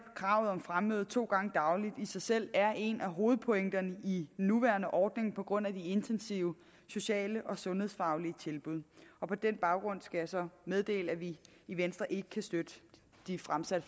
kravet om fremmøde to gange dagligt i sig selv er en af hovedpointerne i den nuværende ordning på grund af de intensive sociale og sundhedsfaglige tilbud og på den baggrund skal jeg så meddele at vi i venstre ikke kan støtte det fremsatte